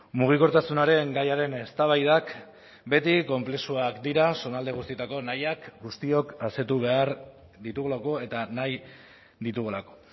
mugikortasunaren gaiaren eztabaidak beti konplexuak dira zonalde guztietako nahiak guztiok asetu behar ditugulako eta nahi ditugulako